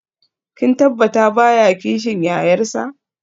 Kin tabbata baya kishin yayarsa?